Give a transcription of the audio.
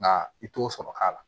Nka i t'o sɔrɔ k'a la